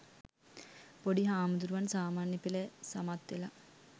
පොඩි හාමුදුරුවන් සාමාන්‍ය පෙළ සමත් වෙලා